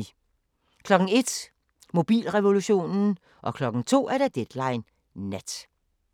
01:00: Mobilrevolutionen 02:00: Deadline Nat